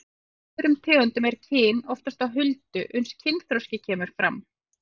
En hjá öðrum tegundum er kyn oft á huldu uns kynþroski kemur fram.